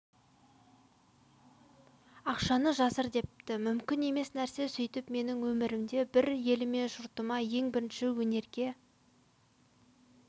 ақшаны жасыр депті мүмкін емес нәрсе сөйтіп менің өмірімде бір еліме жұртыма ең бірінші өнерге